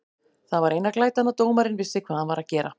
Það var eina glætan að dómarinn vissi hvað hann var að gera.